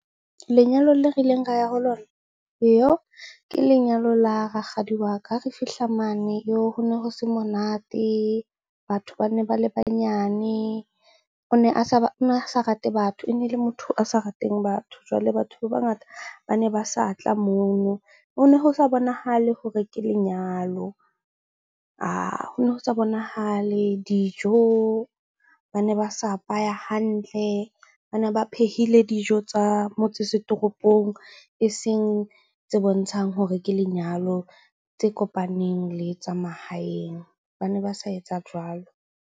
Lenyalo le re ileng ra ya ho lona iyoh! Ke lenyalo la rakgadi wa ka. Ha re fihla mane yoh! Ho ne ho se monate, batho ba ne ba le banyane. O ne a sa ba, o ne a sa rate batho, e ne le motho a sa rateng batho. Jwale batho ba bangata bane ba sa tla mono. Ho ne ho sa bonahale hore ke lenyalo ho ne ho sa bonahale dijo, ba ne ba sa apaya hantle. Ba ne ba phehile dijo tsa motse setoropong eseng tse bontshang hore ke lenyalo tse kopaneng le tsa mahaeng. Ba ne ba sa etsa jwalo.